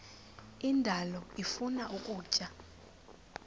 indalo ifuna ukutya